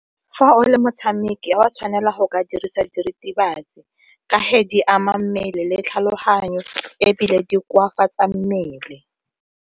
Fa o le motshameki, ga o a tshwanela go ka dirisa diritibatsi ka ge di ama mmele le tlhaloganyo ebile di koafatsa mmele.